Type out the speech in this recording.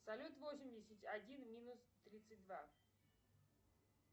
салют восемьдесят один минус тридцать два